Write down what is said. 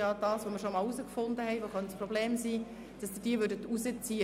Wir haben bereits einmal herausgefunden, dass das Problem dadurch verursacht werden könnte.